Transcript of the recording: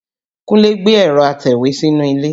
Kúnlé gbé ẹ̀rọ́ atẹ̀wé sínú ilé